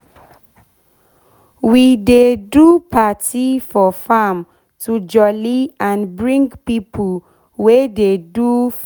we dey do party for farm to jolly and bring pipo wey dey do farm